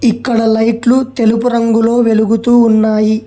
ఇక్కడ లైట్లు తెలుపు రంగులో వెలుగుతూ ఉన్నాయి